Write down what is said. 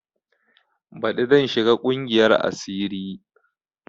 Baɗi zan shiga ƙungiyar asiri